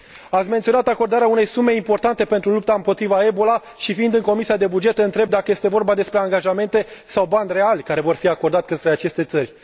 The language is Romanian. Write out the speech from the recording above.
Ați menționat acordarea unei sume importante pentru lupta împotriva Ebola și, fiind în Comisia pentru bugete, întreb dacă este vorba despre angajamente sau bani reali care vor fi acordați către aceste țări.